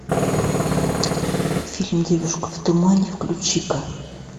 фильм девушка в тумане включи ка